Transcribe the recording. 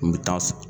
N bɛ taa